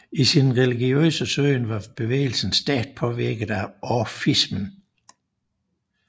I sin religiøse søgen var bevægelsen stærkt påvirket af orfismen